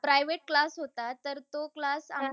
Private class होता तर तो class